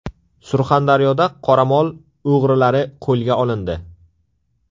Surxondaryoda qoramol o‘g‘rilari qo‘lga olindi.